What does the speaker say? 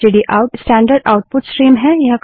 stdout standard output stream है